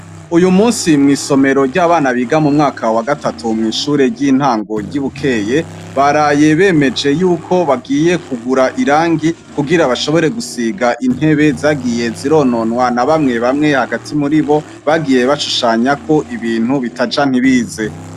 Uyu munsi mw'isomero ry'abana biga mu mwaka wa gatatu mw'ishure ry'intango ry'i Bukeye, baraye bemeje yuko bagiye kugura irangi kugira bashobore gusiga intebe zagiye zirononwa na bamwe bamwe hagati muri bo bagiye bashushanyako ibintu bitaja ntibize.